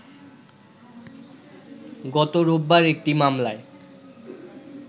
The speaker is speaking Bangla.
গত রোববার একটি মামলায়